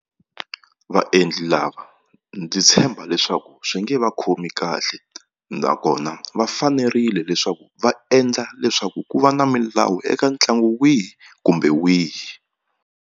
Vaendli lava ndzi tshemba leswaku swi nge va khomi kahle nakona va fanerile leswaku va endla leswaku ku va na milawu eka ntlangu wihi kumbe wihi.